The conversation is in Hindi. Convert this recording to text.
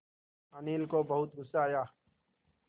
अनिल को बहुत गु़स्सा आया